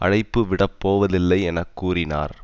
அழைப்பு விடப்போவதில்லை என கூறினார்